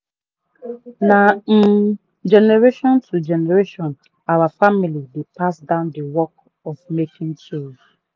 na um generation to generation our family dey pass down the work of making tools